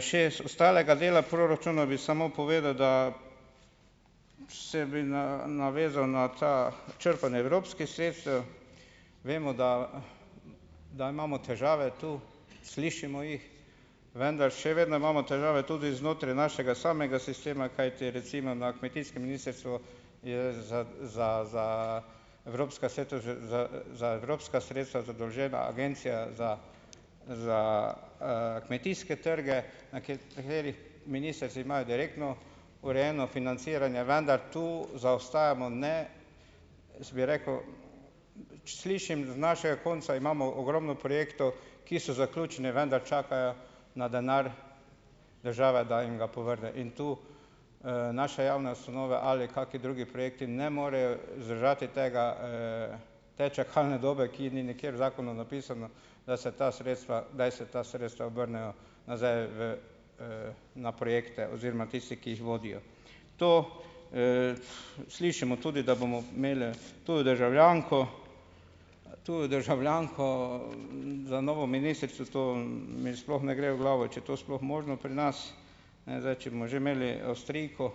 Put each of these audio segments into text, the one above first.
še ostalega dela proračuna, bi samo povedal, da, se bi navezal na ta, črpanje evropskih sredstev. Vemo, da, da imamo težave tu, slišimo jih, vendar še vedno imamo težave tudi znotraj našega samega sistema, kajti, recimo na kmetijskem ministrstvu je za, za, za evropska sredstva za, za evropska sredstva zadolžena Agencija za, za, kmetijske trge, na nekaterih ministrstvih imajo direktno urejeno financiranje, vendar to zaostajamo, ne. Jaz bi rekel, slišim z našega konca, imamo ogromno projektov, ki so zaključni, vendar čakajo na denar države, da jim ga povrne. In tu, naše javne ustanove ali kakšni drugi projekti ne morejo, zdržati tega, te čakalne dobe, ki ni nikjer v zakonu napisana, da se ta sredstva, kdaj se ta sredstva vrnejo nazaj v, na projekte oziroma tisti, ki jih vodijo. To, slišimo tudi, da bomo imeli tujo državljanko, tujo državljanko, za novo ministrico, to, mi sploh ne gre v glavo, če je to sploh možno pri nas. Ne, zdaj če bomo že imeli Avstrijko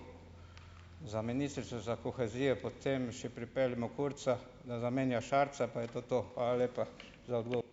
za ministrico za kohezijo, potem še pripeljimo Kurza, da zamenja Šarca, pa je to to. Hvala lepa za